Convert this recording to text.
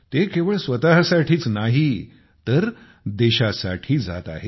ते केवळ स्वतःसाठीच नाही तर देशासाठी जात आहेत